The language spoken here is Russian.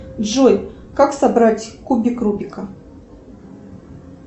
джой как собрать кубик рубика